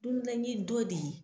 Don bɛɛ ni dɔ de ye.